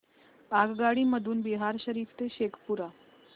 आगगाडी मधून बिहार शरीफ ते शेखपुरा